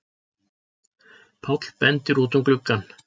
Páll bendir út um gluggann.